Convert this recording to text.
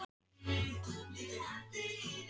Ég úa til mín galdur þeirra.